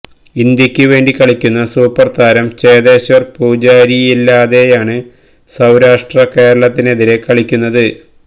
ഇന്ത്യക്ക് വേണ്ടി കളിക്കുന്ന സൂപ്പർ താരം ചേതേശ്വർ പുജാരയില്ലാതെയാണ് സൌരാഷ്ട്ര കേരളത്തിനെതിരെ കളിക്കുന്നത്